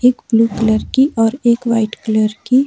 एक blue colour की और एक वाइट कलर की--